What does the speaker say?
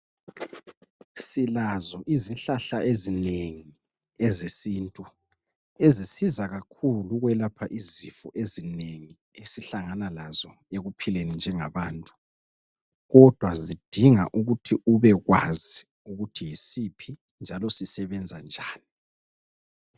Silazo izihlahla ezinengi ezesintu ezisiza kakhulu ukwelapha izifo ezinengi esihlangana lazo ekuphileni njengabantu kodwa zidinga ukuthi ubekwazi ukuthi yisiphi njalo sisebenza njani.